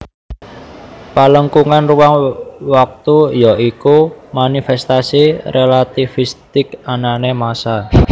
Pelengkungan ruang waktu ya iku manifestasi relativistik anané masaa